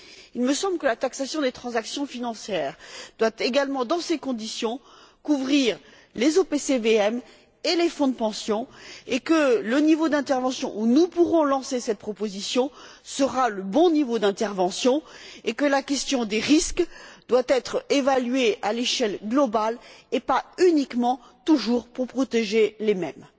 Il me semble que la taxation des transactions financières doit également, dans ces conditions, couvrir les OPCVM et les fonds de pension, que le niveau d'intervention où nous pourrons lancer cette proposition sera le bon niveau d'intervention et que la question des risques doit être évaluée à l'échelle globale, et pas uniquement toujours pour protéger les mêmes.